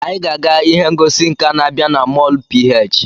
Anyị ga-aga ihe ngosi nka na-abịa na molu PH.